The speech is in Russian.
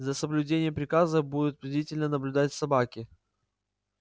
за соблюдением приказа будут бдительно наблюдать собаки